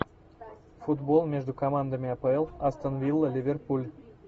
футбол между командами апл астон вилла ливерпуль